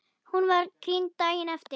Hún var krýnd daginn eftir.